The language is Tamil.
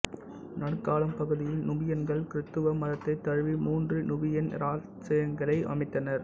நடுக்காலம் பகுதியில் நுபியன்கள் கிருத்துவம் மதத்தைத் தழுவி மூன்று நுபியன் இராச்சியங்களை அமைத்தனர்